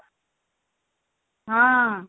ହଁ